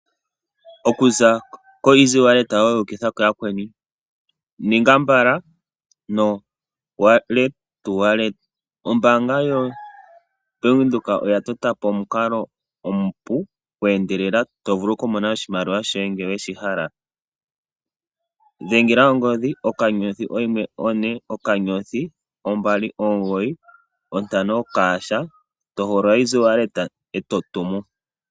Okuza koEasy walleta yoye wuukitha kayayakweni ninga mbala no wallet to wallet. Ombaanga yoBank Windhoek oya tota po omukalo omupu gweendelela to vulu okumona oshimaliwa shoye ngele we shi hala. Dhengela oongodhi *140*295# to hogolola Easy Wallet e to tumu.